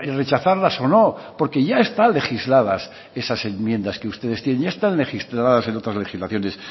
rechazarlas o no porque ya están legisladas esas enmiendas que ustedes tienen ya están registradas en otras legislaciones